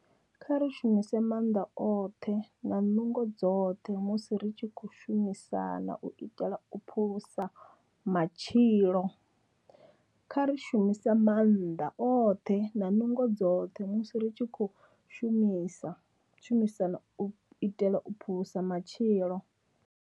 Kha ri shumise maanḓa oṱhe na nungo dzoṱhe musi ri tshi khou shumisana u itela u phulusa matshilo. Kha ri shumise maanḓa oṱhe na nungo dzoṱhe musi ri tshi khou shumisana u itela u phulusa matshilo.